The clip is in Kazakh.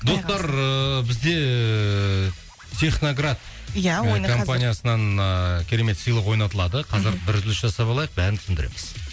достар ыыы бізде техноград компаниясынан ыыы керемет сыйлық ойнатылады қазір бір үзіліс жасап алайық бәрін түсіндіреміз